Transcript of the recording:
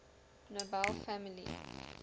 nobel family